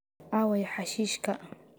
Aaway xashiishka?